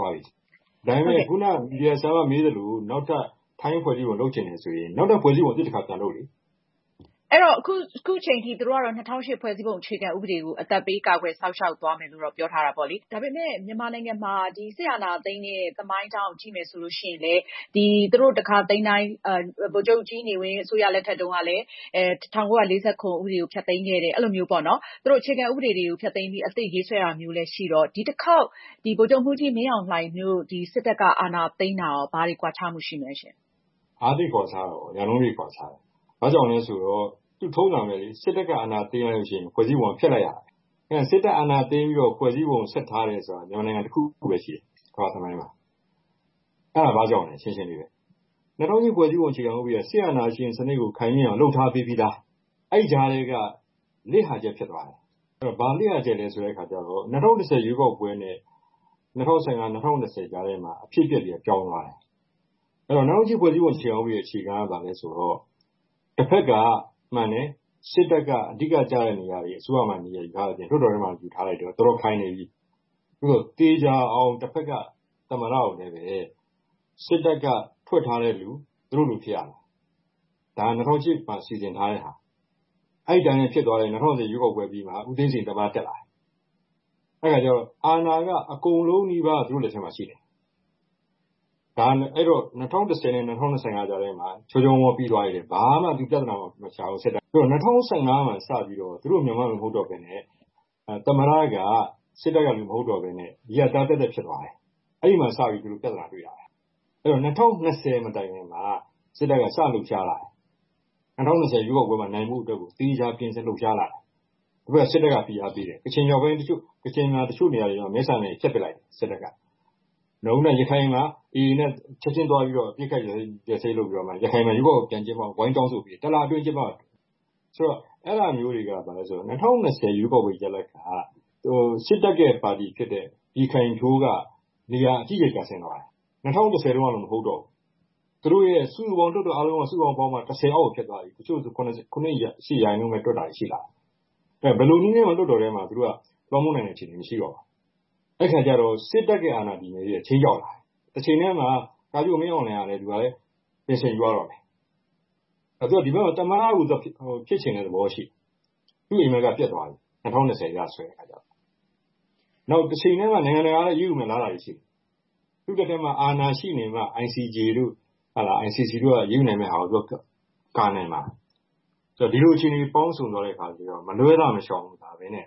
က်သွားပြီ ။ ဒါပေမယ့် ခုနက မေးသလို နောက်ထပ် ဖွဲ့စည်းပုံ လုပ်ချင်တယ်ဆိုရင် နောက်ထပ် ဖွဲ့စည်းပုံ အသစ် တခါ ပြန်လုပ်လေ။ အင်ကြင်းနိုင်။ ။ စစ်တပ်ကတော့ အခုချိန်ထိ ၂၀၀၈ ဖွဲ့စည်းပုံအခြေခံဥပဒေကို အသက်ပေးကာကွယ်စောင့်ရှောက်သွားမယ်လို့ ပြောထားပါတယ်။ ဒါပေမဲ့ မြန်မာနိုင်ငံမှာ စစ်အာဏာသိမ်းတဲ့ သမိုင်းကြောင်းကိုကြည့်ရင် ဖွဲ့စည်းပုံအခြေခံဥပဒေတွေကို ဖျက်သိမ်းတာတွေ့ရပါတယ်။ ဥပမာ-ဗိုလ်ချုပ်နေဝင်း စစ်အာဏာသိမ်းချိန်မှာ ၁၉၄၇ခုနှစ် ဥပဒေကို ဖျက်သိမ်းခဲ့တာမျိုးပေါ့။ အဲတော့ ဒီတခေါက် စစ်အာဏာသိမ်းတာဟာ အရင် စစ်အာဏာသိမ်းတာမျိုးနဲ့ ဘာကွာသလဲ။ ဦးအောင်ထူး။ ။ ဒါက သိပ်ကွာခြားတာပေါ့ ရာနှုန်းပြည့် ကွာခြားတယ်။ ဘာကြောင့်လဲဆိုတော့ ထုံးစံပဲလေ စစ်တပ်က အာဏာသိမ်းရင် ဖွဲ့စည်းပုံက ဖျက်လိုက်ရတာပဲ ။ စစ်တပ် အာဏာသိမ်းပြီးတော့ ဖွဲ့စည်းပုံ ဆက်ထားတယ်ဆိုတာက မြန်မာနိုင်ငံတခုပဲရှိတယ် ကမ္ဘာ့သမိုင်းမှာ ။ အဲဒါဘာကြောင့်လဲ ရှင်းရှင်းလေးပဲ ၂၀၀၈ ဖွဲ့စည်းပုံအခြေခံဥပဒေက စစ်အာဏာရှင်စနစ်ကို ခိုင်မြဲအောင်လုပ်ထားပေးပြီးသား ။ အဲဒီကြားထဲက လစ်ဟာချက်ဖြစ်သွားတယ်။ ဘာလစ်ဟာချက်လဲဆိုတော့ ၂၀၁၀ ရွေးကောက်ပွဲနဲ့ ၂၀၁၅-၂၀၂၀ ကြားထဲမှာ အဖြစ်အပျက်တွေက ပြောင်းသွားတယ်။ အဲဒီတော့ ၂၀၀၈ ဖွဲ့စည်းပုံအခြေခံဥပဒေ အခြေခံက ဘာလဲဆိုတော့ တဖက်က မှန်တယ် စစ်တပ်က အဓိက ကျတဲ့နေရာတွေ အစိုးရမှာ နေရာယူထားတယ်၊ လွှတ်တော်ထဲမှာလည်း ယူထားတယ်၊ တော်တော်ခိုင်နေပြီ။ သို့သော် သေချာအောင် တဖက်က သမ္မတကိုလည်း စစ်တပ်က ဖွဲ့ထားတဲ့လူ သူတို့လူ ဖြစ်ရမယ်။ ဒါက ၂၀၀၈ မှာ စီစဉ်ထားတဲ့ဟာ အဲဒီအတိုင်းလည်း ဖြစ်သွားတယ် ၂၀၁၀ ရွေးကောက်ပွဲအပြီးမှာ ဦးသိန်းစိန် သမ္မတ တက်လာတယ်။ အဲဒါကျတော့ အာဏာက အကုန်လုံးနီးပါး သူတို့ လက်ထဲမှာ ရှိတယ်။ အဲဒီတော့ ၂၀၁၀-၂၀၁၅ ကြားထဲမှာ ချောချောမောမောပြီးသွားတယ် ဘာမှ ဒီပြဿနာတွေမရှိဘူး ။ အဲဒီတော့ ၂၀၁၅ မှာစပြီးတော့ သူတို့ အရင်တုန်းကလိုမဟုတ်တော့ပဲနဲ့ သမ္မတက စစ်တပ်ကလူ မဟုတ်တော့ပဲနဲ့ အရပ်သား သပ်သပ်ဖြစ်သွားတယ်။ အဲဒီမှာစပြီးတော့ သူတို့ ပြဿနာတွေ့တာပဲ ။ အဲဒီတော့ ၂၀၂၀ မတိုင်ခင်မှာ စစ်တပ်က စလှုပ်ရှားလာတယ်။ ၂၀၂၀ ရွေးကောက်ပွဲမှာ နိုင်ဖို့အတွက်ကို သေချာပြင်ဆင်လှုပ်ရှားလာတယ်။ ပြီးတော့ စစ်တပ်က ဖိအားပေးတယ် ၊ ကချင်တချို့နေရာတွေမှာ မဲဆန္ဒနယ်မြေတွေ ဖျက်ပစ်လိုက်တယ် စစ်တပ်က။ နောက်ပြီးတော့ ရခိုင်မှာ AA နဲ့ ချက်ချင်းအပစ်အခတ်ရပ်စဲရေးတွေလုပ်ပြီးတော့ ရခိုင်မှာ ရွေးကောက်ပွဲပြန်ကျင်းပဖို့ ဝိုင်းတောင်းဆိုပေးတယ် ၁ လအတွင်း ကျင်းပဖို့။ ဆိုတော့ အဲဒါမျိုးတွေကဘာလဲဆိုတော့ ၂၀၂၀ ရွေးကောက်ပွဲရလဒ်က စစ်တပ်ရဲ့ ပါတီဖြစ်တဲ့ ပြည်ခိုင်ဖြိုးက နေရာအကြီးအကျယ်ကျဆင်းသွားတယ်။ ၂၀၁၀ တုန်းကလို မဟုတ်တော့ဘူး။ သူတို့ရဲ့ စုစုပေါင်း လွှတ်တော် အားလုံးပေါင်းမှာ ၁၀ အောက်ကို ဖြစ်သွားပြီ။ တချို့ ဆိုရင် ၇ တို့ ၈ ရာခိုင်နှုန်းတို့လောက်နဲ့တောင် တွက်တာရှိလာတယ်။ ဆိုတော့ ဘယ်လိုနည်းနဲ့မှ လွှတ်တော်အတွင်းကို လွှမ်းမိုးနိုင်တဲ့ အခြေအနေမရှိတော့ဘူး။ အဲဒီအခါကျတော့ စစ်တပ်အာဏာတည်မြဲရေးက ခြိမ်းခြောက်လာတယ်။ တချိန်တည်းမှာ ကာချုပ်မင်းအောင်လှိုင်ကလည်း ပင်စင်ယူရတော့မယ်။ သူက ဒီဘက်မျာ သမ္မတ ဖြစ်ချင်တဲ့ သဘောရှိတယ်။ ဒါပေမယ့် သူ့အိမ်မက်က ပျက်သွားပြီ ၂၀၂၀ အရဆိုရင်။ နောက်တချိန်တည်းမှာ နိုင်ငံတကာက အရေးယူမယ့်အလားအလာတွေရှိနေတယ်။ ICJ တို့ ICC တို့က အရေးယူမှာတွေ လာနိုင်လာတယ်။ ဆိုတော့ ဒီလိုအခြေအနေ ပေါင်းစုံသွားတဲ့အခါ မလွဲသာ မရှောင်သာပဲနဲ့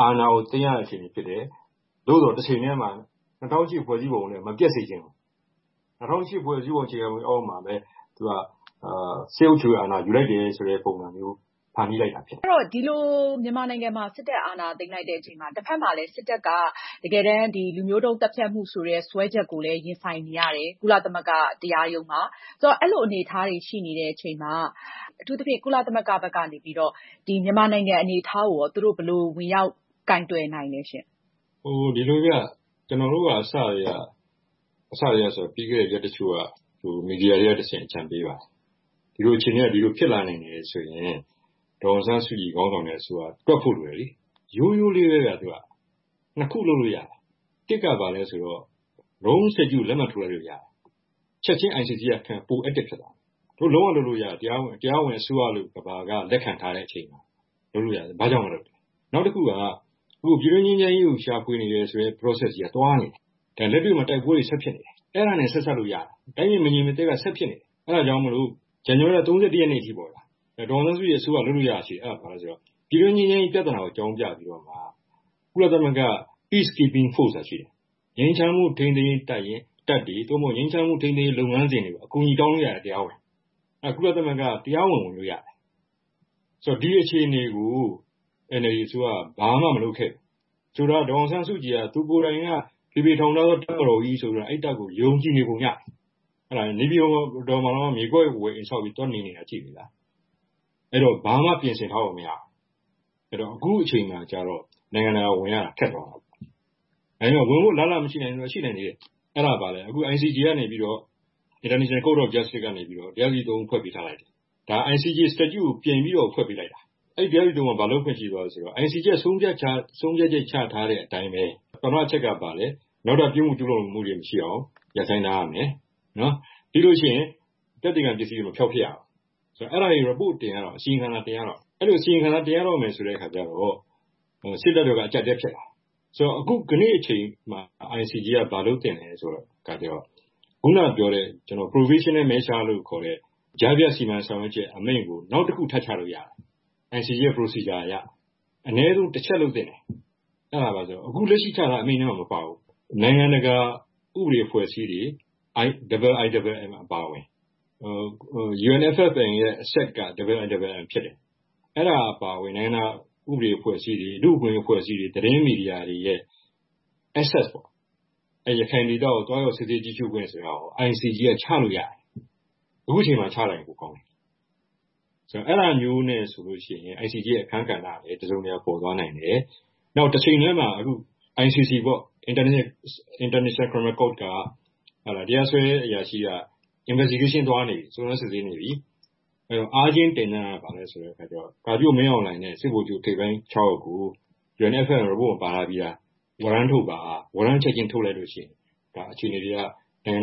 အာဏာကို သိမ်းရတဲ့ အခြေအနေဖြစ်တယ်။ သို့သော် တချိန်တည်းမှာ ၂၀၀၈ ဖွဲ့စည်းပုံလည်း မပျက်စေချင်ဘူး။ ၂၀၀၈ ဖွဲ့စည်းပုံအခြေခံဥပဒေ အောက်မှာပဲ သူက စစ်အုပ်ချုပ်ရေးအာဏာယူလိုက်တယ် ဆိုတဲ့ ပုံစံမျိုး ဖန်တီးလိုက်တာဖြစ်တယ်။ အင်ကြင်းနိုင်။ ။ ဒီလို မြန်မာနိုင်ငံမှာ စစ်တပ်အာဏာသိမ်းလိုက်ချိန်မှာ တဖက်မှာလည်း စစ်တပ်က လူမျိုးတုန်းသတ်ဖြတ်မှု စွဲချက်ကို ကုလသမဂ္ဂ တရားရုံးမှာ ရင်ဆိုင်နေရပါတယ်။ အဲဒီလိုအနေအထားမှာ အထူးသဖြင့် ကုလသမဂ္ဂ ICJ၊ ICC တို့ဘက်က မြန်မာနိုင်ငံရဲ့ လက်ရှိအခြေအနေနဲ့ ပတ်သက်လို့ ဘယ်လိုမျိုး ဝင်ရောက် ဆောင်ရွက်နိုင်သလဲ။ ဦးအောင်ထူး။ ။ ဒီလိုဗျ ကျနော်တို့က ပြီးခဲ့တဲ့ ရက်တချို့က မီဒီယာတွေကတဆင့် အကြံပေးပါတယ်။ ဒီလိုအခြေအနေက ဒီလိုဖြစ်လာနိုင်တယ်ဆိုတာ အဲလိုဆိုရင် ဒေါ်အောင်ဆန်းစုကြည်ခေါင်းဆောင်တဲ့အစိုးရက သွက်ဖို့လိုတယ်။ ရိုးရိုးလေးပဲဗျ ၂ ခုလုပ်လို့ ရတယ်၊ ၁ က ဘာလဲဆိုတော့ Rome Statute ကို လက်မှတ်ထိုးလိုက်လို့ရတယ်။ ချက်ချင်း ICJ ကလုပ်ရင် ပို active ဖြစ်သွားမယ်။ သူတို့လုံးဝလုပ်လို့ရတယ် တရားဝင်အစိုးရလို့ ကမ္ဘာက လက်ခံထားတဲ့အချိန်မှာ လုပ်လို့ရတယ် ဘာကြောင့်မလုပ်တာလဲ။ နောက်တခုက အခုပြည်တွင်းငြိမ်းချမ်းရေးကို ရှာဖွေနေတဲ့ Process ကြီးက သွားနေတယ်။ ဒါလက်တွေ့မှာ တိုက်ပွဲတွေ ဆက်ဖြစ်နေတယ်။ အဲဒါနဲ့ ဆက်စပ်လို့ရတယ် တိုင်းပြည်မငြိမ်မသက်က ဆက်ဖြစ်နေတယ်။ အဲဒါကြောင့်မို့ ဇန်နဝါရီလ ၃၁ ရက်နေ့အထိပေါ့ဗျာ ဒေါ်အောင်ဆန်းစုကြည် အစိုးရ လုပ်လို့ရတာရှိတယ် အဲဒါဘာလဲဆိုတော့ ပြည်တွင်းငြိမ်းချမ်းရေးပြဿနာကို အကြောင်းပြပြီးတော့ ကုလသမဂ္ဂ Peacekeeping force ဆိုတာရှိတယ်။ ငြိမ်းချမ်းမှုထိန်းသိမ်းရေးတပ်တွေ၊ ငြိမ်းချမ်းမှုထိန်းသိမ်းရေး လုပ်ငန်းစဉ်တွေကို အကူအညီတောင်းလို့ရတယ် တရားဝင်ပေါ့။ အဲဒါ ကုလသမဂ္ဂက တရားဝင် ဝင်လို့ရတယ်။ ဆိုတော့ ဒီအခြေအနေကို NLD အစိုးရက ဘာမှ မလုပ်ခဲ့ဘူး။ ဆိုတော့ ဒေါ်အောင်ဆန်းစုကြည်က သူကိုယ်တိုင်က ဖေဖေထောင်ထားသော တပ်မတော်ကြီးဆိုပြီးတော့ ယုံကြည်နေပုံရတယ်။ နေပြည်တော်မှာတောင်မှ မြေကွက်ဝယ်အိမ်ဆောက်ပြီး သွားနေနေတာ ကြည့်လေဗျာ။ အဲဒီတော့ ဘာမှ ပြင်ဆင်ထားပုံမရဘူး။ အခုအချိန်မှာတော့ နိုင်ငံတကာ ဝင်ရတာ ခက်သွားရော။ ဝင်ဖို့ အလားအလာမရှိဘူးလားဆိုတော့ ရှိသေးတယ် ။ အဲဒါဘာလဲဆိုတော့ICJ ကနေပြီးတော့ တရားသူကြီး ၃ ဦးဖွဲ့ပေးထားလိုက်တယ်။ ဒါက ICJ statute ကို ပြည်ပြီးတော့ ဖွဲ့ပေးလိုက်တာ။ အဲဒီ တရားသူကြီး ၃ ဦးက ဘာလုပ်ခွင့်ရှိသွားသလဲဆိုတော့ ICJ ဆုံးဖြတ်ချက်ချထားတဲ့အတိုင်းပဲ ပထမအချက်ကဘာလဲ နောက်ထပ်ပြစ်မှုကျူးလွန်မှုတွေ မရှိအောင် ရပ်ဆိုင်းထားရမယ်၊ ပြီးရင် သက်သေခံ ပစ္စည်းတွေ မဖျောက်ပစ်ရဘူး ဆိုတော့ အဲဒါတွေ အစီရင်ခံစာတွေ တင်ရတော့မယ်။ အဲဒီလို အစီရင်ခံစာတွေ တင်ရတော့မယ်ဆိုတဲ့အခါကျတော့ စစ်တပ်ဘက်က အကျပ်အတည်းဖြစ်လာတယ်။ ဆိုတော့ ယနေ့အချိန်မှာ ICJ က ဘာလုပ်သင့်သလဲဆိုတော့ ခုနပြောတဲ့ Provisional Measure လို့ခေါ်တဲ့ ကြားဖြတ်စီမံဆောင်ရွက်ချက် အမိန့်ကို နောက်တခု ထပ်ချလို့ရတယ် ICJ ရဲ့ လုပ်ထုံးလုပ်နည်းအရ။ အနည်းဆုံး တချက်လုပ်သင့်တယ် အဲဒါဘာလဲဆိုတော့ အခုလက်ရှိချထားတဲ့ အမိန့်ထဲမှာ မပါဘူး။ နိုင်ငံတကာ ဥပဒေအဖွဲ့အစည်းတွေ IIMM အပါအဝင် UNFFM ရဲ့ အဆက်က IIMM ဖြစ်တယ်။ အဲဒါ အပါအဝင် နိုင်ငံတကာ ဥပဒေအဖွဲ့အစည်းတွေ ၊ လူ့အခွင့်အရေးအဖွဲ့အစည်းတွေ၊ သတင်းမီဒီယာတွေရဲ့ access ပေါ့ ၊ ရခိုင်ဒေသကို သွားရောက်ကြည့်ရှုစစ်ဆေးခွင့်ဆိုတာကို ICJ က ချလို့ရတယ်။ အခုအချိန်မှာ ချလိုက်ရင် ပိုကောင်းတယ် ။ ဆိုတော့ အဲဒါမျိုးနဲ့ဆိုရင် ICJ ရဲ့ အခန်းကဏ္ဍကလည်း တစုံတရာ ပေါ်သွားမယ် ။ နောက်တချိန်တည်းမှာ ICC တရားစွဲအရာရှိက စုံစမ်းစစ်ဆေးနေပြီ။ ကာချုပ်မင်းအောင်လှိုင်နဲ့ စစ်ဗိုလ်ချုပ် ထိပ်ပိုင်း ၆ ယောက်ကို UNFFM မှာ ပါထားပြီးသား ဝရမ်းထုတ်လိုက်ပါ။ ဝရမ်းထုတ်လိုက်ရင် အခြေအနေတွေက နိုင်ငံတ